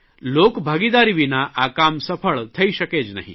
લોકભાગીદારી વિના આ કામ સફળ થઇ શકે જ નહીં